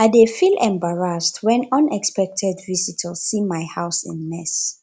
i dey feel embarrassed when unexpected visitors see my house in mess